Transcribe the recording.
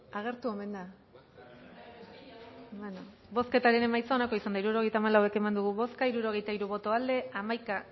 agertu omen da bale bozketaren emaitza onako izan da hirurogeita hamalau eman dugu bozka hirurogeita hiru boto aldekoa once